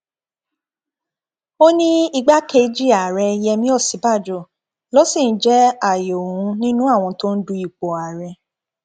ó ní igbákejì ààrẹ yẹmi òsínbàjò ló sì ń jẹ ààyò òun nínú àwọn tó ń du ipò ààrẹ